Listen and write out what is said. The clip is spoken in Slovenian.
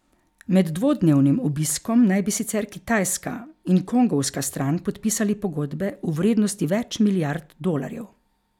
Med dvodnevnim obiskom naj bi sicer kitajska in kongovska stran podpisali pogodbe v vrednosti več milijard dolarjev.